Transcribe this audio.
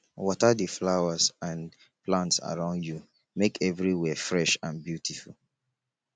water the flowers and plants around you make everywhere fresh and beautiful